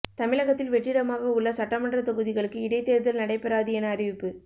தமிழகத்தில் வெற்றிடமாகவுள்ள சட்டமன்ற தொகுதிகளுக்கு இடைத் தேர்தல் நடைபெறாது என அறிவிப்பு